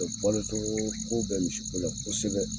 Balo cogo ko bɛ misi ko la kosɛbɛ